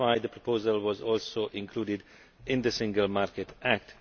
That is why the proposal was also included in the Single Market Act.